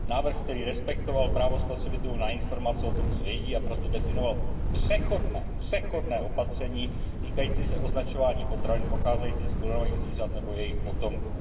Návrh, který respektoval právo spotřebitelů na informace o tom, co jedí, a proto definoval přechodné, přechodné opatření týkající se označování potravin pocházejících z klonovaných zvířat nebo jejich potomků.